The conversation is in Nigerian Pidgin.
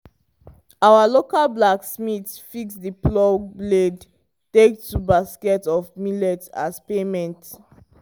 our local blacksmith fix the plow blade take two basket of millet as payment.